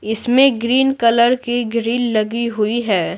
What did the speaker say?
इसमें green colour की grill लगी हुई है।